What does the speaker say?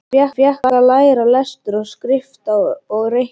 Hann fékk að læra lestur og skrift og reikning.